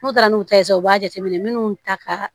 N'u taara n'u ta ye sisan u b'a jateminɛ minnu ta ka